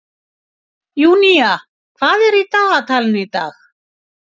Júnía, hvað er í dagatalinu í dag?